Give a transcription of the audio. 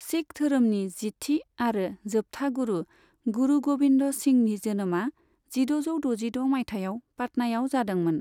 सिख धोरोमनि जिथि आरो जोबथा गुरु, गुरु गोबिन्द सिंहनि जोनोमा जिद'जौ दजिद' मायथाइयाव पटनायाव जादोंमोन।